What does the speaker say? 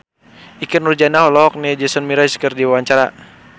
Ikke Nurjanah olohok ningali Jason Mraz keur diwawancara